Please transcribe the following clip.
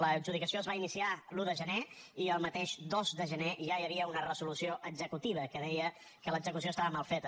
l’adjudicació es va iniciar l’un de gener i el mateix dos de gener ja hi havia una resolució executiva que deia que l’execució estava mal feta